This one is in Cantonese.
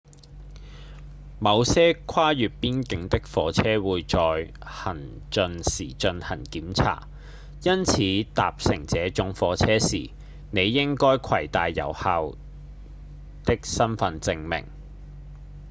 某些跨越邊境的火車會在行進時進行檢查因此搭乘這種火車時你應該攜帶有效的身分證明